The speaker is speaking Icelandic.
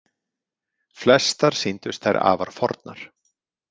Flestar sýndust þær afar fornar.